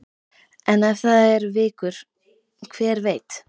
En ef það eru vikur, hver veit?